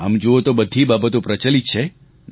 આમ જૂઓ તો બધી બાબતો પ્રચલિત છે